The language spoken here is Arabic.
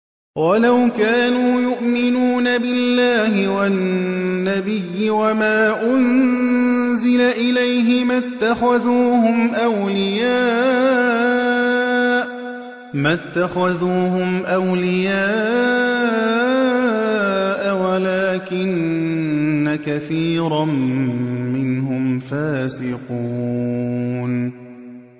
وَلَوْ كَانُوا يُؤْمِنُونَ بِاللَّهِ وَالنَّبِيِّ وَمَا أُنزِلَ إِلَيْهِ مَا اتَّخَذُوهُمْ أَوْلِيَاءَ وَلَٰكِنَّ كَثِيرًا مِّنْهُمْ فَاسِقُونَ